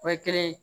O ye kelen ye